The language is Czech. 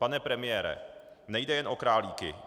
Pane premiére, nejde jen o Králíky.